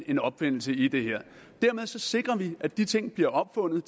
en opfindelse i det dermed sikrer vi at de ting bliver opfundet